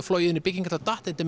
flogið inn í byggingar þá datt